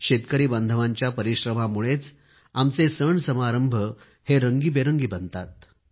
शेतकरी बांधवांच्या परिश्रमामुळेच आमचे सणसमारंभ रंगबिरंगी बनतात